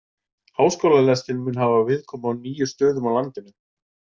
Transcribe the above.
Háskólalestin mun hafa viðkomu á níu stöðum á landinu.